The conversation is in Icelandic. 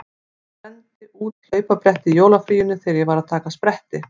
Ég brenndi út hlaupabretti í jólafríinu þegar ég var að taka spretti.